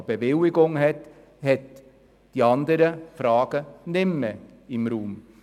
Wer eine Bewilligung hat, für den stehen die anderen Fragen nicht mehr im Raum.